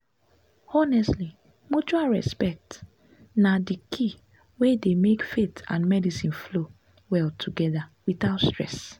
honestly mutual respect na the key wey dey make faith and medicine flow well together without stress.